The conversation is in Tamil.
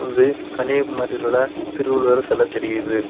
இது கன்னியாகுமரியில் உள்ள திருவள்ளுவர் செல தெரியுது.